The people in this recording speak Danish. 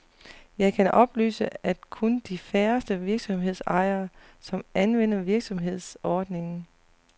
Jeg kan oplyse, at kun de færreste virksomhedsejere, som anvender virksomhedsordningen.